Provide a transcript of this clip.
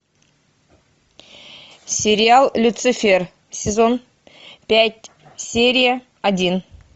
сериал люцифер сезон пять серия один